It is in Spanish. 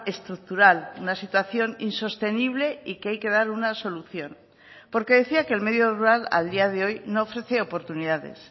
estructural una situación insostenible y que hay que dar una solución porque decía que el medio rural a día de hoy no ofrece oportunidades